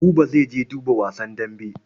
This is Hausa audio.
Buba zai je duba wasan dambe.